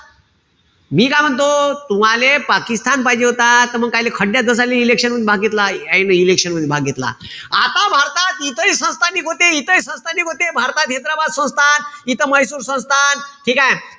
मी काय म्हणतो, तुम्हाले पाकिस्तान पाहिजे होता. त मंग कायले खड्यात election मधी भाग घेतला. यायिन election मधी भाग घेतला. आता भारतात इथेही भारतात हैद्रबाद संस्थान, तिथं म्हैसूर संस्थान, ठीकेय?